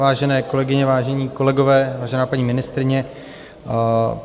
Vážené kolegyně, vážení kolegové, vážená paní ministryně.